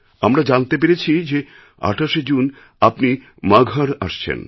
আমরা জানতে পেরেছি যে আঠাশে জুন আপনি মগহরআসছেন